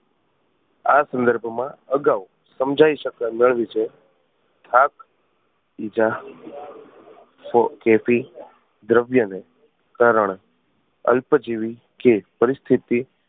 આ સંદર્ભ માં અગાઉ સમજાય શકાય એના વિષે દ્રવ્ય ને કારણે અલ્પ જીવી કે પરિસ્થિતિ